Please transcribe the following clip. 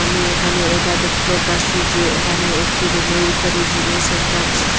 আমি এখানে এটা দেখতে পারসি যে এহানে একটি রুমের ভিতরে জিমের সেন্টার রয়েছে।